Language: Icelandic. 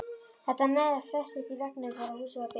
Þetta nef festist í veggnum þegar húsið var byggt.